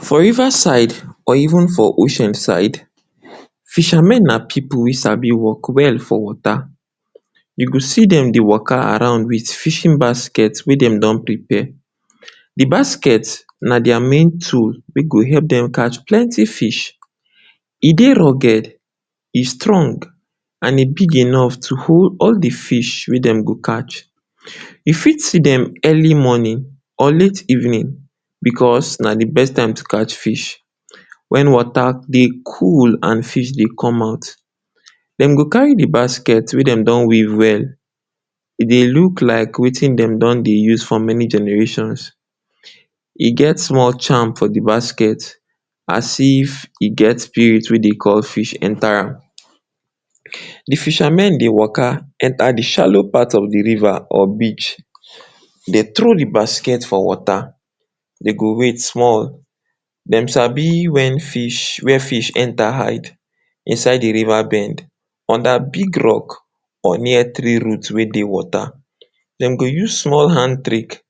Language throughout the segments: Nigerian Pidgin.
For river side or even for ocean side fishermen na pipu wey sabi work well for water. You go see dem dey waka around with fishing basket wey dem don prepare. De basket na their main tool wey go help dem catch plenty fish. E dey rugged, e strong, and e big enough to hold all de fish wey dem go catch. You fit see dem early morning or late evening because na de best time to catch fish. Wen water dey cool and fish dey come out, dem go carry de basket wey dem don weave well. E dey look like wetin dem don dey use for many generations. E get small charm for de basket as if e get spirit wey dey call fish enter am. De fishermen dey waka enter de shallow part of de river or beach dey throw de basket for water, dey go wait small. Dey sabi wen fish, where fish enter hide inside de river bend under big rock or near tree root wey dey water. Dem go use small hand trick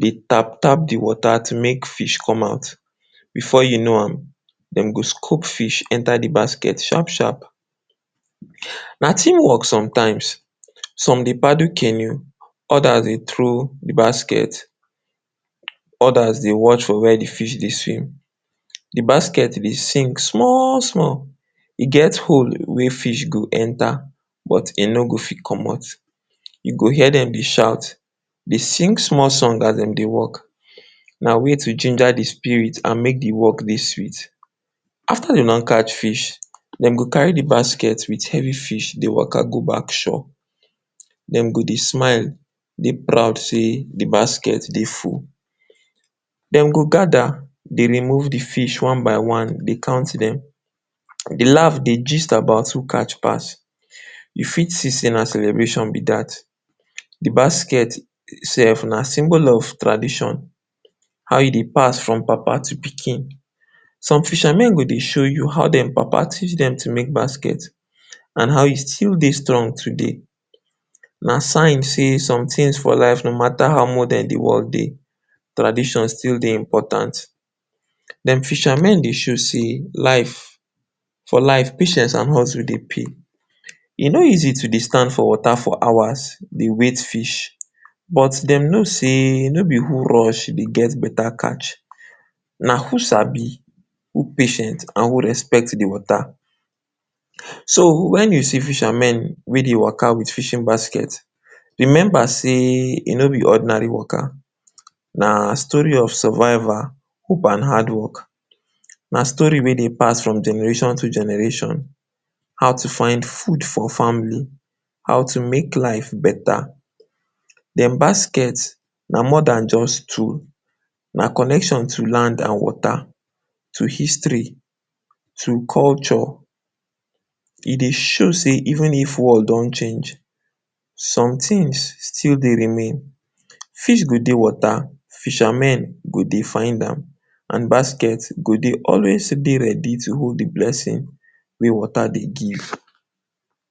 dey tap-tap de water to make fish come out. Before you know am dey go scoop fish enter de basket sharp-sharp. Na team work sometimes, some dey paddle canoe others dey throw de basket, others dey watch for where de fish dey swim. De basket bin sink small-small, e get hole where fish go enter but e no go fit commot. You go hear dem dey shout, dey sing small song as dem dey work, na way to ginger de spirit and make de work dey sweet. After dem don catch fish, dem go carry de basket with heavy fish dey waka go back shore. Dem go dey smile, dey proud sey de basket dey full. Dem go gather dey remove de fish one by one dey count dem, dey laugh, dey gist about who catch pass. You fit see sey na celebration be dat. De basket sef na symbol of tradition, how e dey pass from papa to pikin. Some fishermen go dey show you how dem papa teach dem to make basket and how e still dey strong today. Na sign sey somethings for life no matter how modern de world dey, tradition still dey important. Dem fishermen dey show sey life, for life patience and hustle dey pay. E no easy to dey stand for water for hours dey wait fish but dem know sey no be who rush dey get beta catch. Na who sabi, who patient, and who respect de water. So, wen you see fishermen wey dey waka with fishing basket, remember sey e no be ordinary waka. Na story of survival, hope and hard work. Na story wey dem pass from generation to generation. How to find food for family, how to make life beta. Dem basket na more dan just tool, na connection to land and water, to history, to culture. E dey show sey even if world don change, some things still dey remain. Fish go dey water, fishermen go dey find am and basket go dey always dey ready to hold de blessing wey water dey give.